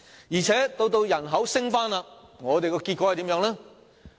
而且，當人口回升時，結果又是怎樣？